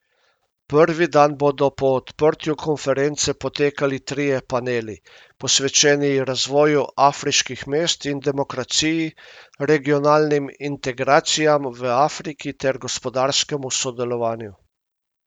Prvi dan bodo po odprtju konference potekali trije paneli, posvečeni razvoju afriških mest in demokraciji, regionalnim integracijam v Afriki ter gospodarskemu sodelovanju.